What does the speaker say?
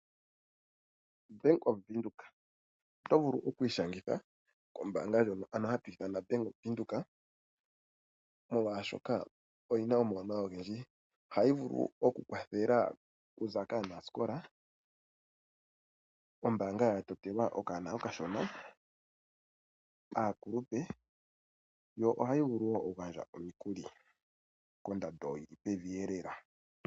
Oto vulu oku ishangitha kombaanga ndjoka hatu ti oyaVenduka, molwashoka oyi na omawuwanawa ogendji. Ohayi vulu okukwathela okuza kaanasikola. Ombaanga ya totelwa okanona okashona, aakuluoe nohayi vulu okugandja omikuli kondando yi li pevi lela.